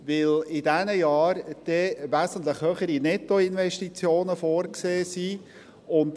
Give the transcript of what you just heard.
– Weil in diesen Jahren wesentlich höhere Nettoinvestitionen vorgesehen sind.